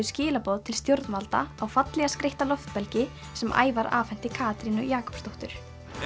skilaboð til stjórnvalda á fallega skreytta sem Ævar afhenti Katrínu Jakobsdóttur